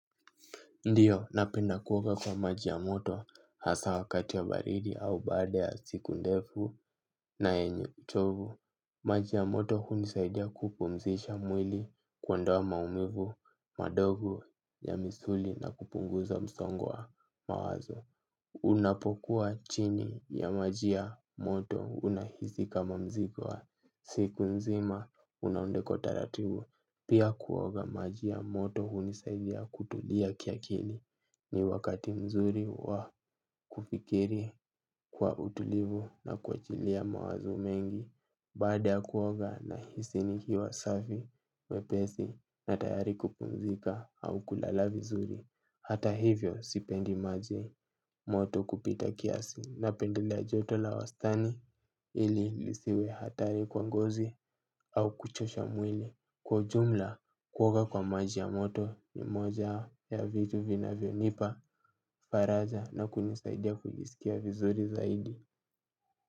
Ndiyo, napenda kuoga kwa maji ya moto hasaa wakati ya baridi au baada ya siku ndefu na yenye uchovu. Maji ya moto hunisaidia kupumzisha mwili kuondoa maumivu, madogo ya misuli na kupunguza msongo wa mawazo. Unapokuwa chini ya maji ya moto unahisi kama mzigo wa siku nzima unaondoka kwa utaratibu. Pia kuoga maji ya moto hunisaidia kutulia kiakili ni wakati mzuri wa kufikiri kwa utulivu na kuachilia mawazo mengi. Baada ya kuoga nahisi nikiwa safi, mwepesi na tayari kupumzika au kulala vizuri. Hata hivyo sipendi maji moto kupita kiasi napendelea joto la wastani ili isiwe hatari kwa ngozi au kuchosha mwili. Kwa jumla kuoga kwa maji ya moto ni moja ya vitu vinavyonipa faraja na kunisaidia kujisikia vizuri zaidi.